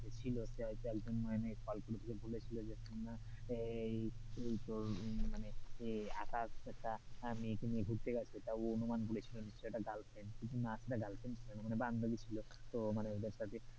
ছিল সে হয়তো একজন মানে বলে ছিল যে তোর মানে আকাশ একটা মেয়েকে নিয়ে ঘুরতে গেছে তো অনুমান বলেছিলো নিশ্চই এটা girlfriend কিন্তু না সেটা girlfriend ছিল না মানে বান্ধবী ছিল, তো মানে ,